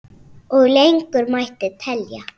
Og lengur mætti telja.